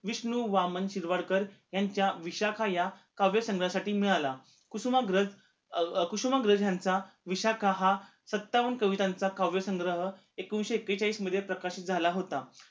विष्णु वामन शिरवाडकर यांच्या विशाखा या काव्य संग्रहासाठी मिळाला. कुसुमाग्रज अह कुसुमाग्रज ह्यांचा विशाखा हा सत्तावन्न कवितांचा काव्य संग्रह एकोणीशे एकेचाळीस मध्ये प्रकाशित झाला होता